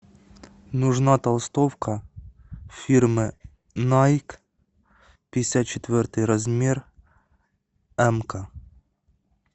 нужна толстовка фирмы найк пятьдесят четвертый размер эмка